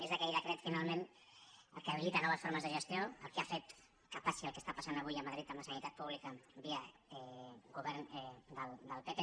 és aquell decret finalment el que habilita noves formes de gestió el que ha fet que passi el que passa avui a madrid amb la sanitat pública via govern del pp